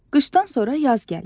Qışdan sonra yaz gəlir.